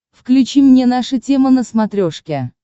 включи мне наша тема на смотрешке